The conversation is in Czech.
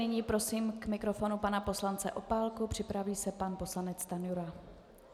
Nyní prosím k mikrofonu pana poslance Opálku, připraví se pan poslanec Stanjura.